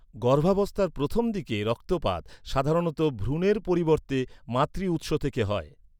গর্ভাবস্থার প্রথম দিকে রক্তপাত সাধারণত ভ্রূণের পরিবর্তে মাতৃ উৎস থেকে হয়।